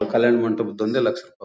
ಕಲ್ಯಾಣ್ ಮಂಟಪದೊಂದೇ ಲಕ್ಷ ರೂಪಾಯಿ ಬಂತು